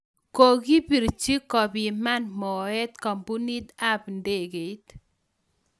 Kokibirchi kupiman moet kampunit ab ndegeit.